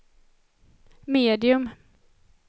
medium